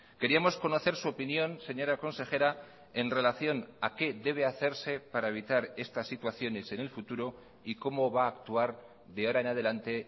queríamos conocer su opinión señora consejera en relación a qué debe hacerse para evitar estas situaciones en el futuro y cómo va a actuar de ahora en adelante